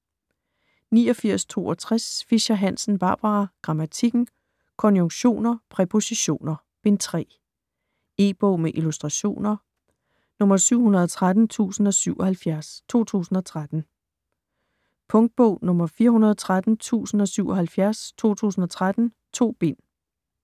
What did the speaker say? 89.62 Fischer-Hansen, Barbara: Grammatikken: Konjunktioner, præpositioner: Bind 3 E-bog med illustrationer 713077 2013. Punktbog 413077 2013. 2 bind.